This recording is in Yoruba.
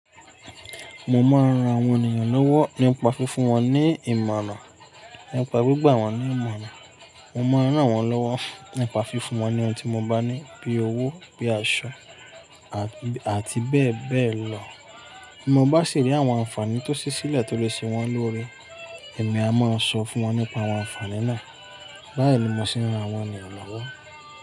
Mo máa ń ran àwọn ènìyàn lọ́wọ́ nípa fífún wọn ní ìmọ̀ràn, nípa gbígbà wọ́n ní ìmọ̀ràn. Mo máa ń ràn wọ́n lọ́wọ́ nípa fífún wọn ní ohun tí mo bá ní bíi owó, bíi aṣọ àti bẹ́ẹ̀ bẹ́ẹ̀ lọ. Bí mo bá sì rí àwọn àǹfààní tó sì sílẹ̀ tó lè ṣe wọ́n lóre, èmi a máa sọ fún wọn nípa àwọn àǹfààní náà. Báyìí ni mò sí ń ran àwọn ènìyàn lọ́wọ́.